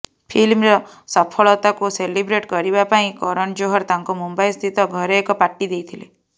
ଫିଲ୍ମର ସଫଳତାକୁ ସେଲିବ୍ରେଟ କରିବା ପାଇଁ କରଣ ଜୋହର ତାଙ୍କ ମୁମ୍ବାଇ ସ୍ଥିତ ଘରେ ଏକ ପାର୍ଟୀ ଦେଇଥିଲେ